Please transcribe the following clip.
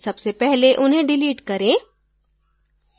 सबसे पहले उन्हे डिलीट करें